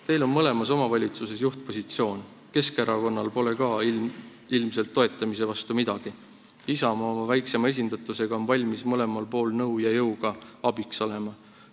Teil on mõlemas omavalitsuses juhtpositsioon, Keskerakonnal pole ka ilmselt toetamise vastu midagi, Isamaa oma väiksema esindatusega on valmis mõlemal pool nõu ja jõuga abiks olema.